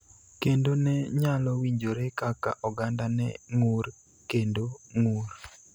kendo ne nyalo winjore kaka oganda ne ng�ur kendo ng�ur.